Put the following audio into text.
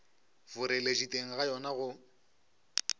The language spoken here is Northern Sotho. boreledi teng ga yona go